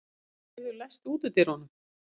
Steingerður, læstu útidyrunum.